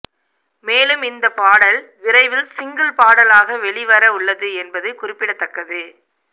மேலும் இந்த பாடல் விரைவில் சிங்கிள் பாடலாக வெளிவர உள்ளது என்பது குறிப்பிடத்தக்கது